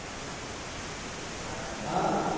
कुठं गार्डन नाय हा